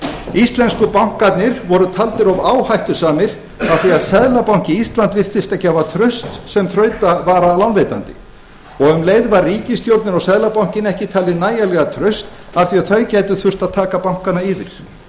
íslensku bankarnir voru taldir of áhættusamir af því að seðlabanki íslands virtist ekki hafa traust sem sem þrautavaralánveitandi og um leið var ríkisstjórnin og seðlabankinn ekki talin nægilega traust af því þau gætu þurft að taka bankana yfir